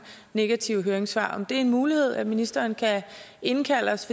negative høringssvar er det en mulighed at ministeren kan indkalde os